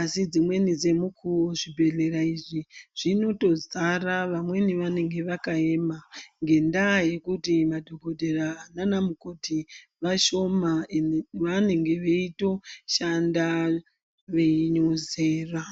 asi dzimweni dzomukuwo zvibhedhleya izvi zvinotodzara vamweni vanenge vakayema ngendaa yokuti madhokotera naana mukoti vashoma ende vanenge veitoshanda veyinozera.